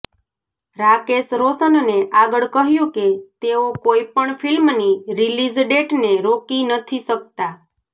રાકેશ રોશનને આગળ કહ્યું કે તેઓ કોઈ પણ ફિલ્મની રિલીઝ ડેટને રોકી નથી શકતા